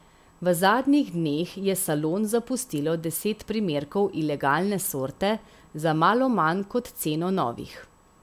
V zadnjih dneh je salon zapustilo deset primerkov ilegalne sorte, za malo manj kot ceno novih.